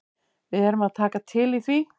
Við erum að taka til í því.